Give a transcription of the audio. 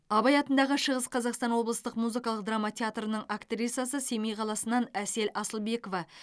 абай атындағы шығыс қазақстан облыстық музыкалық драма театрының актрисасы семей қаласынан әсел асылбекова